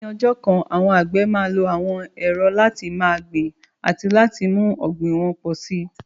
Ní ọjọ́ kan, àwọn àgbẹ̀ máa lo àwọn ẹ̀rọ láti máa gbin àti láti mú ọ̀gbìn wọn pọ̀ sí i.